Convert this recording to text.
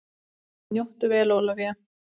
Njóttu vel Ólafía!